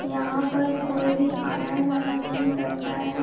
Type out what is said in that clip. यहां पर कोई भी आना-जाना नहीं करता है।